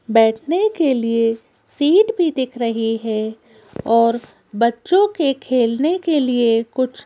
बैठने के लिए सीट भी दिख रही है और बच्चों के खेलने के लिए कुछ--